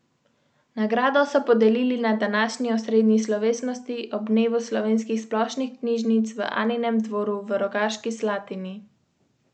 Oktober je minil v viharjih.